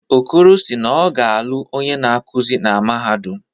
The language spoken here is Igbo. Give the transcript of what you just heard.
Okoro si naọ ga-alụ onye na-akuzi na mahadum.